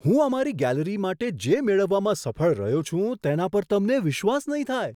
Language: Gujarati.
હું અમારી ગેલેરી માટે જે મેળવવામાં સફળ રહ્યો છું તેના પર તમને વિશ્વાસ નહીં થાય!